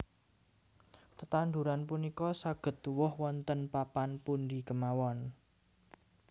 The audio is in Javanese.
Tetanduran punika saged tuwuh wonten papan pundi kemawon